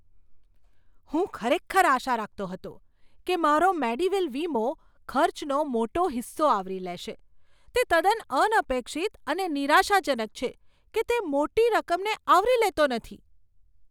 હું ખરેખર આશા રાખતો હતો કે મારો મેડીવેલ વીમો ખર્ચનો મોટો હિસ્સો આવરી લેશે. તે તદ્દન અનપેક્ષિત અને નિરાશાજનક છે કે તે મોટી રકમને આવરી લેતો નથી.